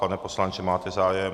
Pane poslanče, máte zájem?